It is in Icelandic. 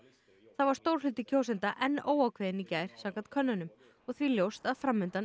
þá var stór hluti kjósenda enn óákveðinn í gær samkvæmt könnunum og því ljóst að